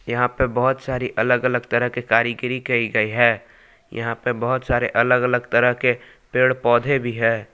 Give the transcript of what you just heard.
यहां पर बहुत सारी अलग अलग तरह के कारीगरी करी गई है। यहां पर बहुत सारे अलग अलग तरह के पेड़ पौधे भी है।